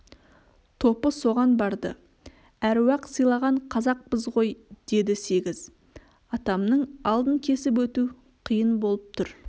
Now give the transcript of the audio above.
топы соған барды әруақ сыйлаған қазақпыз ғой деді сегіз атамның алдын кесіп өту қиын болып тұр